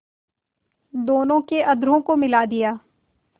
दोनों के अधरों को मिला दिया